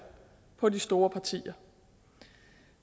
på de store partier